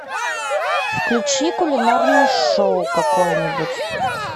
включи кулинарное шоу какое нибудь